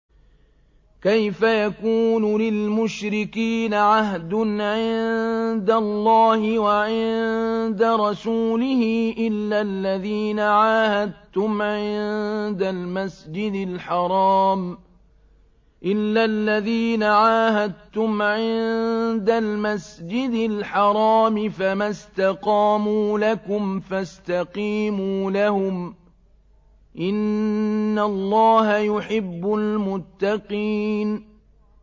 كَيْفَ يَكُونُ لِلْمُشْرِكِينَ عَهْدٌ عِندَ اللَّهِ وَعِندَ رَسُولِهِ إِلَّا الَّذِينَ عَاهَدتُّمْ عِندَ الْمَسْجِدِ الْحَرَامِ ۖ فَمَا اسْتَقَامُوا لَكُمْ فَاسْتَقِيمُوا لَهُمْ ۚ إِنَّ اللَّهَ يُحِبُّ الْمُتَّقِينَ